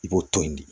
I b'o to yen de